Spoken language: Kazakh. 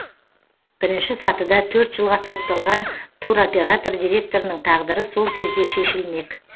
бірінші сатыда төрт жылға сотталған туроператор директорының тағдыры сол кезде шешілмек